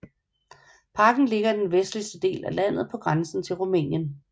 Parken ligger i den vestlige del af landet på grænsen til Rumænien